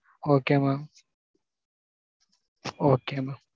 Okay mam. Okay mam.